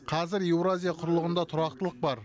қазір еуразия құрлығында тұрақтылық бар